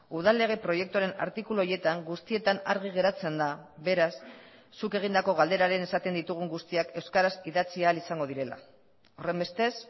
udal lege proiektuaren artikulu horietan guztietan argi geratzen da beraz zuk egindako galderaren esaten ditugun guztiak euskaraz idatzi ahal izango direla horrenbestez